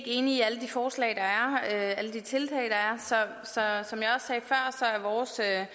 enige i alle de forslag der er alle de tiltag der er som jeg også sagde